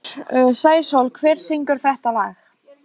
Sæsól, hver syngur þetta lag?